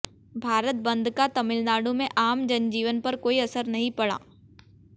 भारत बंद का तमिलनाडु में आम जनजीवन पर कोई असर नहीं पड़ा